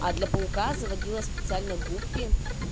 а для паука заводила специально гуппи